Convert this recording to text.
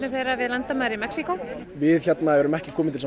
þeirra við landamæri Mexíkó við hérna erum ekki komin til